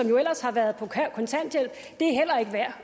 som ellers har været på kontanthjælp er værd